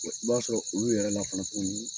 I b'a sɔrɔ olu yɛrɛ la fana tuguni